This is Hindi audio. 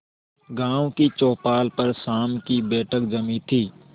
गांव की चौपाल पर शाम की बैठक जमी थी